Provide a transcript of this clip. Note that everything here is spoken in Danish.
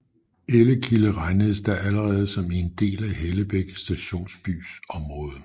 Ellekilde regnedes da allerede som en del af Hellebæk stationsbys område